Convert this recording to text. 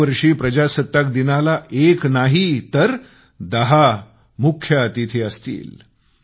यावर्षी प्रजासत्ताक दिनाला एक नाही तर दहा मुख्य अतिथी असणार आहेत